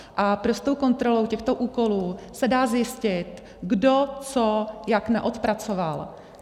A prostou kontrolou těchto úkolů se dá zjistit, kdo co jak neodpracoval.